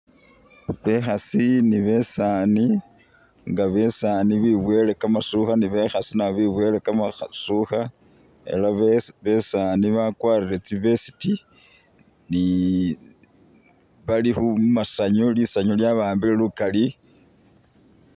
Bekhaasi ni besaani nga besaani beboyele kamasukha ni bekhaasi nabo beboyele kamasukha ela be besaani bakwarire tsi'vest ni, bali khumasanyu ,lisanyu lyaba'ambile lukali